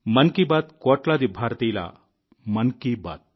మన్ కీ బాత్ కోట్లాది భారతీయుల మన్ కీ బాత్